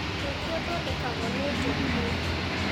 Ũkĩ ũthondekagwo nĩ njũkĩ